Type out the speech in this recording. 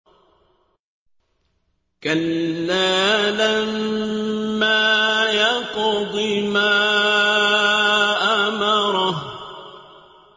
كَلَّا لَمَّا يَقْضِ مَا أَمَرَهُ